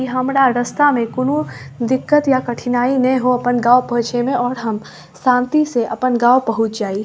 इ हमरा रस्ता में कोनो दिक्कत या कठिनाई नेए होअ अपन गप होय छै ने और हम शांति से अपन गांव पहुंच जाय।